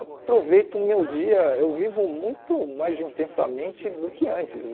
Aproveito o meu dia, eu vivo muito mais intensamente do que antes.